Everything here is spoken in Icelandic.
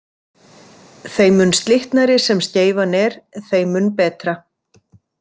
Þeim mun slitnari sem skeifan er þeim mun betra.